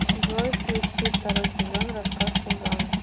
джой включи второй сезон рассказ служанки